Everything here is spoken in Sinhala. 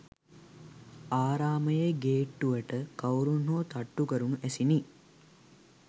ආරාමයේ ගේට්ටුවට කවුරුන් හෝ තට්ටු කරනු ඇසිණ.